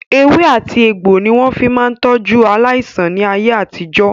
Ewé àti egbò ni wọ́n máa fi ń tọ́jú aláìsàn ní ayé àtijó.